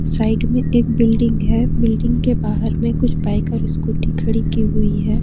Side में एक building है बिल्डिंग के बाहर में कुछ बाइक और स्कूटी खड़ी की हुई है।